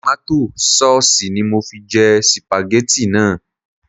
Tòmátò saùsì ni mo fi jẹ sìpàgẹ́tì náà